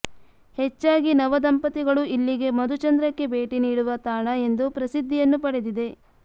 ಹೆಚ್ಚಾಗಿ ನವ ದಂಪತಿಗಳು ಇಲ್ಲಿಗೆ ಮಧುಚಂದ್ರಕ್ಕೆ ಭೇಟಿ ನೀಡುವ ತಾಣ ಎಂದು ಪ್ರಸಿದ್ಧಿಯನ್ನು ಪಡೆದಿದೆ